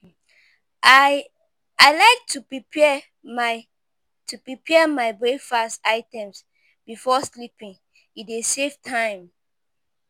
I like to prepare my to prepare my breakfast items before sleeping; e dey save time.